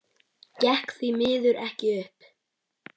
Gekk því miður ekki upp.